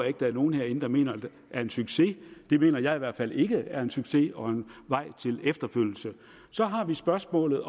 ikke nogen herinde mener er en succes det mener jeg i hvert fald ikke er en succes og en vej til efterfølgelse så har vi spørgsmålet